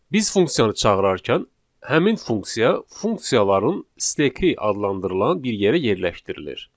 Biz funksiyanı çağırarkən həmin funksiya funksiyaların stek adlı adlandırılan bir yerə yerləşdirilir.